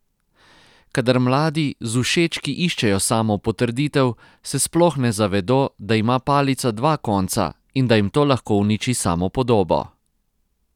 Kadar mladi z všečki iščejo samopotrditev, se sploh ne zavedo, da ima palica dva konca in da jim to lahko uniči samopodobo.